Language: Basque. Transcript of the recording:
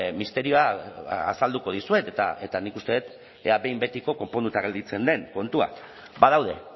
misterioa azalduko dizuet eta nik uste dut ea behin betiko konponduta gelditzen den kontua badaude